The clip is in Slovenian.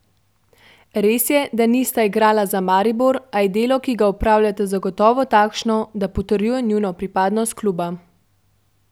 Res je, da nista igrala za Maribor, a je delo, ki ga opravljata, zagotovo takšno, da potrjuje njuno pripadnost kluba.